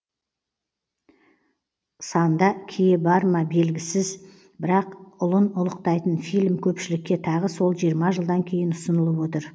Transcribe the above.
санда кие барма белгісіз бірақ ұлын ұлықтайтын фильм көпшілікке тағы сол жиырма жылдан кейін ұсынылып отыр